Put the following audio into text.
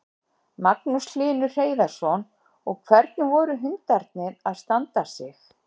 Magnús Hlynur Hreiðarsson: Og hvernig voru hundarnir að standa sig?